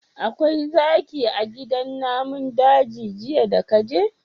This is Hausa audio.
Akwai zaki a gidan namun daji jiya daka je?